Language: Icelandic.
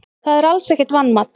Það er alls ekkert vanmat.